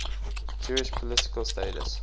jewish political status